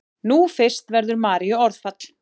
Nú fyrst verður Maríu orðfall.